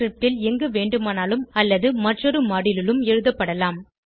script ல் எங்குவேண்டுமானாலும் அல்லது மற்றொரு மாடியூல் லிலும் எழுதப்படலாம்